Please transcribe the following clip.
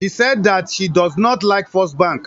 She sais that she does not like First Bank